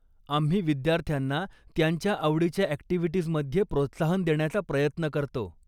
आम्ही विद्यार्थ्यांना त्यांच्या आवडीच्या ॲक्टिव्हिटीजमध्ये प्रोत्साहन देण्याचा प्रयत्न करतो.